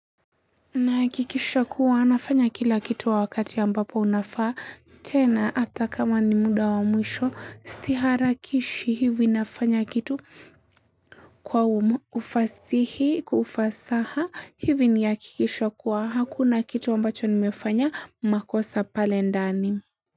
Nahakikisha kuwa nafanya kila kitu wakati ambapo unafaa tena hata kama ni muda wa mwisho siharakishi hivi nafanya kitu kwa ufasihi kufasaha hivi ni hakikisho kuwa hakuna kitu ambacho nimefanya makosa pale ndani.